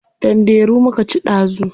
Danderu muka ci dazu.